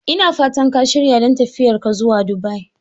Ina fatan ka shirya don tafiyar ka zuwa Dubai?